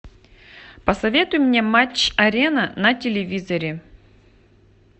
посоветуй мне матч арена на телевизоре